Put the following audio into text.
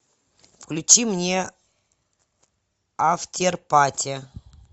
включи мне афтерпати